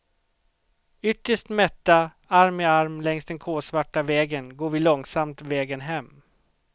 Ytterst mätta, arm i arm längs den kolsvarta vägen går vi långsamt vägen hem.